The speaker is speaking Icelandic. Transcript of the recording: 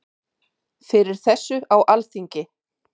Fyrir þessu á Alþingi.